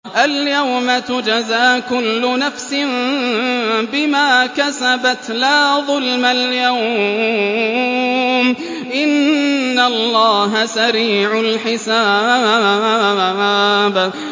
الْيَوْمَ تُجْزَىٰ كُلُّ نَفْسٍ بِمَا كَسَبَتْ ۚ لَا ظُلْمَ الْيَوْمَ ۚ إِنَّ اللَّهَ سَرِيعُ الْحِسَابِ